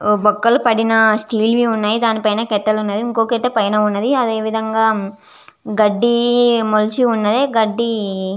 ఓ బొక్కలు పడిన స్టీల్ వి ఉన్నాయి దాని పైన కట్టెలు ఉన్నది ఇంకోటైతే పైన వున్నది అదేవిధంగా గడ్డి మొలిచి వున్నది గడ్డి.